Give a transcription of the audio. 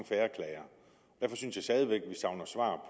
færre klager derfor synes jeg stadig væk at vi savner svar